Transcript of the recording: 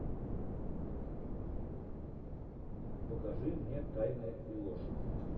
покажи мне тайны и ложь